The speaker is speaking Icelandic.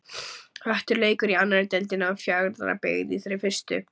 Höttur leikur í annarri deildinni en Fjarðabyggð er í þeirri fyrstu.